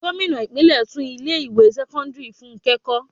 Gómìnà ìpínlè tún ilé ìwé sẹ́kọ́ńdírì fúnké kó.